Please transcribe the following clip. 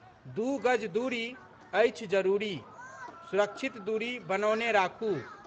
दू गज दूरी, अछि जरूरी सुरक्षित दूरी बनौने राखू